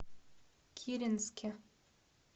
киренске